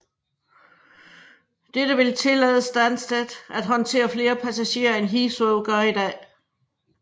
Dette vil tillade Stansted at håndtere flere passagerer end Heathrow gør i dag